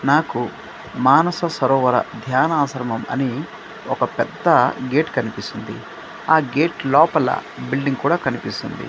నాకు మానస సరోవర ధ్యాన ఆశ్రమం అనీ ఒక పెద్ద గేట్ కన్పిస్తుంది ఆ గేట్ లోపల బిల్డింగ్ కూడా కనిపిస్తుంది.